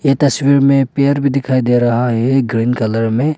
ये तस्वीर में पेड़ भी दिखाई दे रहा है ग्रीन कलर में--